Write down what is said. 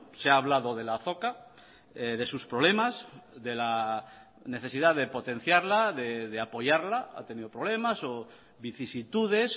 se ha hablado de la azoka de sus problemas de la necesidad de potenciarla de apoyarla ha tenido problemas o vicisitudes